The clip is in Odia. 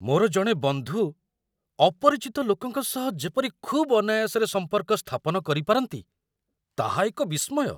ମୋର ଜଣେ ବନ୍ଧୁ ଅପରିଚିତ ଲୋକଙ୍କ ସହ ଯେପରି ଖୁବ୍ ଅନାୟାସରେ ସମ୍ପର୍କ ସ୍ଥାପନ କରିପାରନ୍ତି, ତାହା ଏକ ବିସ୍ମୟ।